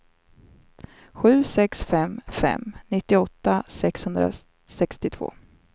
sju sex fem fem nittioåtta sexhundrasextiotvå